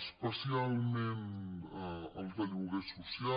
especialment el de lloguer social